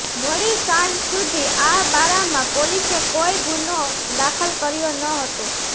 મોડી સાંજ સુધી આ બારામા પોલીસે કોઇ ગુનો દાખલ કર્યો ન હતો